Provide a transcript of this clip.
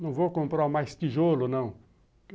Não vou comprar mais tijolo, não.